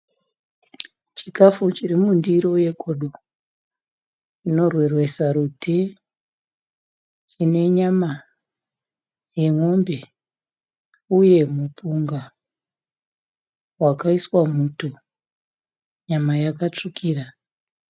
Chikafu chiri mundiro yegodo chinorwerwesa rute. Chine nyama yemombe uye mupunga wakaiswa muto. Nyama yakatsvukira